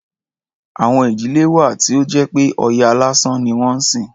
Àwọn ìdílé wà tí ó jẹ́ pé Ọya lásán ni wọ́n ń sìn.